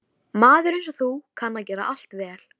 Maður einsog þú kann að gera allt vel.